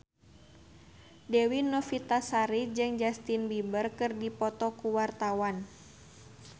Dewi Novitasari jeung Justin Beiber keur dipoto ku wartawan